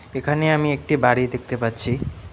এখানে আমি একটি বাড়ি দেখতে পাচ্ছি।